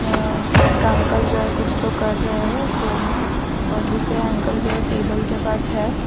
और एक अंकल जो है कुछ तो कर रहे है फोन मे और दूसरे अंकल जो है टेबल के पास है।